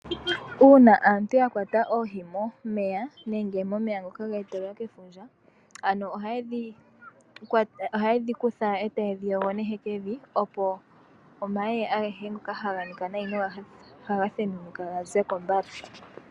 Uuna aantu ya kwata oohi momeya nenge momeya ngoka ge etelelwa kefundja . Ano oha yedhi kutha etaye dhi yogo nehekevi opo omayeye agehe ngoka haga nika nayi noha ga thenunuka ga zeko mbala.